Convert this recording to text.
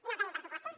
no tenim pressupostos